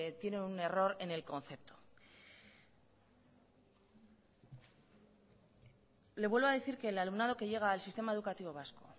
tiene un error en el concepto le vuelvo a decir que el alumnado que llega al sistema educativo vasco